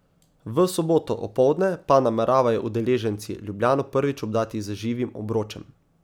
V soboto opoldne pa nameravajo udeleženci Ljubljano prvič obdati z živim obročem.